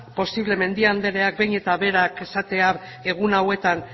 posible mendia andreak behin eta berak esatea egun hauetan